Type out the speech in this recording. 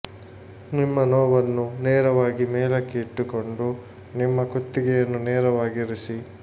ನಿಮ್ಮ ನೋವನ್ನು ನೇರವಾಗಿ ಮೇಲಕ್ಕೆ ಇಟ್ಟುಕೊಂಡು ನಿಮ್ಮ ಕುತ್ತಿಗೆಯನ್ನು ನೇರವಾಗಿ ಇರಿಸಿ